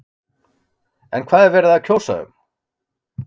En hvað er verið að kjósa um?